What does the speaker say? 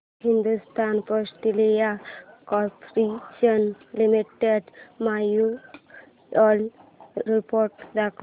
Hindustan petroleum corporation limited annual report दाखव